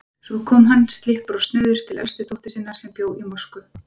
Svo kom hann slyppur og snauður til elstu dóttur sinnar, sem bjó í Moskvu.